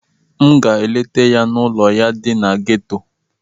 M ga-aga letaa ya n'ụlọ ya dị na geto.